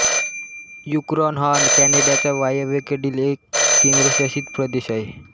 Yukon हा कॅनडाचा वायव्येकडील एक केंद्रशासित प्रदेश आहे